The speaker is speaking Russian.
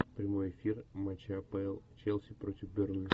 прямой эфир матча апл челси против бернли